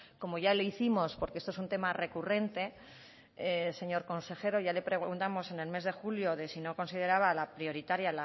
como ya le hicimos porque esto es un tema recurrente señor consejero ya le preguntamos en el mes de julio de si no consideraba la prioritaria